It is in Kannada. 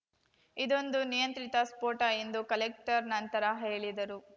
ಇದೊಂದು ನಿಯಂತ್ರಿತ ಸ್ಫೋಟ ಎಂದು ಕಲೆಕ್ಟರ್ ನಂತರ ಹೇಳಿದರು